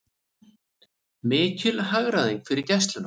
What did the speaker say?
Mikil hagræðing fyrir Gæsluna